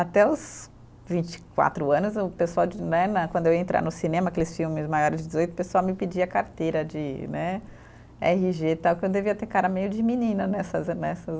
Até os vinte e quatro anos, o pessoal de né né, quando eu ia entrar no cinema, aqueles filmes maiores de dezoito, o pessoal me pedia carteira de né erre gê, tal, que eu devia ter cara meio de menina nessas, nessas